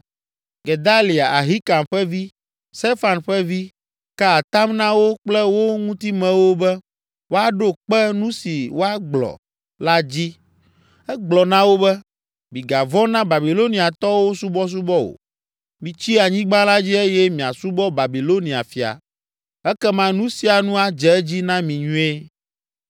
Gedalia, Ahikam ƒe vi, Safan ƒe vi, ka atam na wo kple wo ŋutimewo be wòaɖo kpe nu si wòagblɔ la dzi: Egblɔ na wo be, “Migavɔ̃ na Babiloniatɔwo subɔsubɔ o, mitsi anyigba la dzi eye miasubɔ Babilonia fia, ekema nu sia nu adze edzi na mi nyuie.